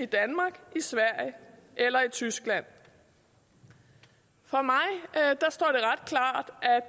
danmark sverige eller tyskland for mig står